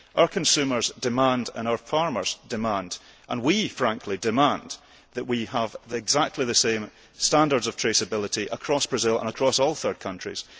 Our consumers demand and our farmers demand and we, frankly, demand that we have exactly the same standards of traceability across Brazil and across all third countries.